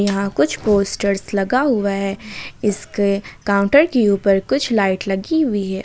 यहां कुछ पोस्टर्स लगा हुआ है इसके काउंटर के ऊपर कुछ लाइट लगी हुई है।